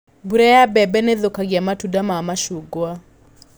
Mbura ya mbembe nĩithũkagia matunda ma macungwa.